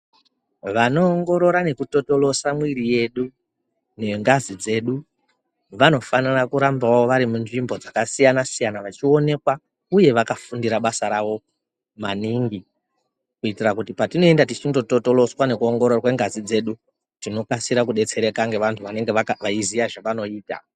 Vanoongorora nekutotolosa mwiri yedu nengazi dzedu vanofanira kurambawo vari munzvimbo dzakasiyana siyana vachionekwa uye vakafundire basa rawo maningi kuitire kuti patinoenda tichindototoloswa nekuongororwe ngazi dzedu tinokasira kudetsereka ngevantu vanenge veiziya zvavanoita.